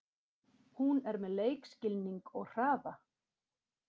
Hún er með leikskilning og hraða.